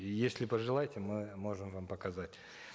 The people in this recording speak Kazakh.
и если пожелаете мы можем вам показать